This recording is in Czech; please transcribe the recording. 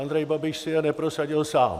Andrej Babiš si je neprosadil sám.